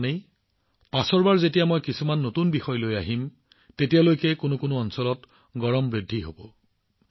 পৰৱৰ্তীবাৰত মই আপোনালোকৰ ওচৰলৈ কিছুমান নতুন বিষয় লৈ আহিম তেতিয়ালৈকে কিছুমান অঞ্চলত তাপ অধিক বৃদ্ধি হব